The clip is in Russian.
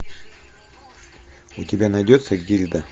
у тебя найдется гильда